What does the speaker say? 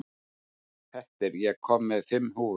Petter, ég kom með fimm húfur!